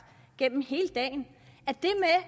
hele dagen